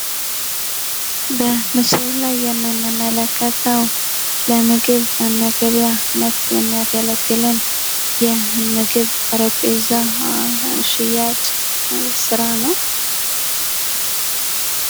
በምስሉ ላይ የምንመለከተው ለምግብ ወይም ለገቢያነት የሚያገለግለን የምግብ ጠረጴዛ ሽያጭ ስራ ነው።